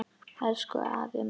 Elsku afi Maggi.